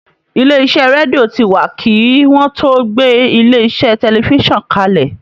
Ilé iṣẹ́ rédíò ti wà kí wọ́n tó gbé ilé iṣẹ́ tẹlifísàn kalẹ̀